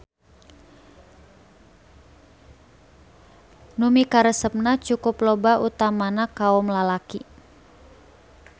Nu mikaresepna cukup loba utamana kaom lalaki.